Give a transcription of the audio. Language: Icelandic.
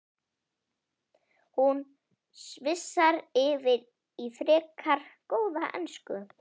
Hún svissar yfir í frekar góða ensku